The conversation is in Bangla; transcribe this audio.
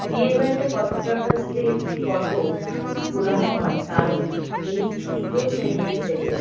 বিয়ে বাড়িতে ফটোগ্রাফারস -দের ফটো তোলানো হয় কারন এই সুন্দর সেরিমনি থেকে --